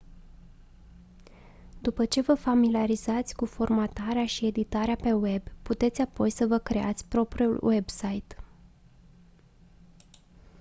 după ce vă familiarizați cu formatarea și editarea pe web puteți apoi să vă creați propriul website